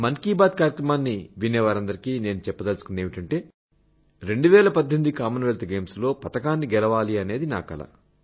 మన్ కీ బాత్ కార్యక్రమాన్ని వినేవారందరికీ నేను చెప్పదలుచుకున్నదేమిటంటే 2018 కామన్వెల్త్ గేమ్స్ లో పతకాన్ని గెలవాలన్నది నా కల